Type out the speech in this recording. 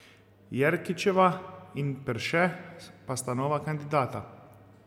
Jerkičeva in Perše pa sta nova kandidata.